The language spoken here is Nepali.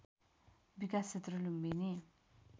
विकास क्षेत्र लुम्बिनी